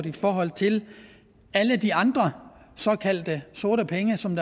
i forhold til alle de andre såkaldte sorte penge som